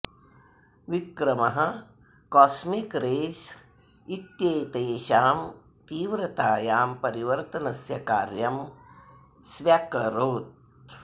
विक्रमः cosmic rays इत्येतेषां तीव्रतायां परिवर्तनस्य कार्यं स्व्यकरोत्